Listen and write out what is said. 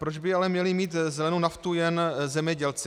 Proč by ale měli mít zelenou naftu jen zemědělci?